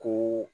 Ko